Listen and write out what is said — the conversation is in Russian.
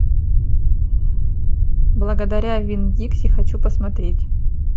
благодаря винн дикси хочу посмотреть